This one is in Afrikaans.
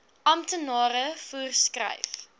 amptenare voer skryf